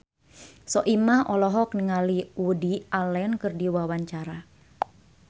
Soimah olohok ningali Woody Allen keur diwawancara